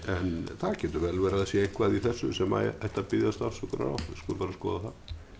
það getur vel verið að það sé eitthvað í þessu sem ætti að biðjast afsökunar á við skulum bara skoða það